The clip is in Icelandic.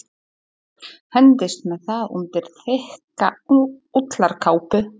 Hendist með það undir þykka ullarkápu.